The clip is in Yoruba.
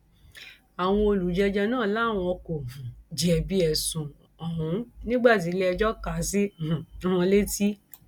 àwọn olùjẹjọ náà làwọn kò um jẹbi ẹsùn ọhún nígbà tíléẹjọ kà á sí um wọn létí